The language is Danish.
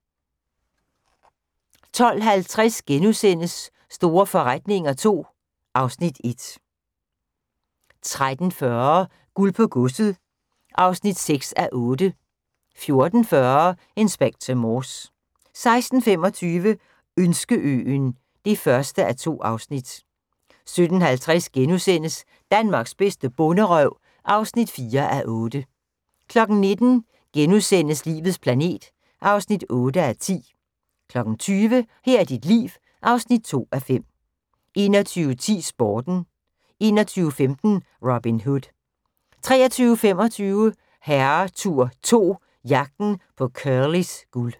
12:50: Store forretninger II (Afs. 1)* 13:40: Guld på godset (6:8) 14:40: Inspector Morse 16:25: Ønskeøen (1:2) 17:50: Danmarks bedste bonderøv (4:8)* 19:00: Livets planet (8:10)* 20:00: Her er dit liv (2:5) 21:10: Sporten 21:15: Robin Hood 23:25: Herretur 2 – Jagten på Curlys guld